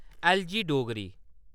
एलजी-डोगरी